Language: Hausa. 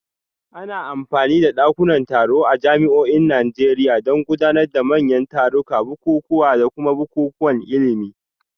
Ana amfani da dakunan taro a jami'o'in Najeriya don gudanar da manyan tarurruka, bukukuwa, da kuma bukukuwan ilimi